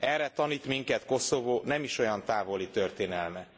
Erre tanít minket Koszovó nem is olyan távoli történelme.